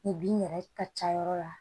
Ni bin yɛrɛ ka ca yɔrɔ la